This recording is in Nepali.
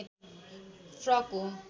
फ्रक हो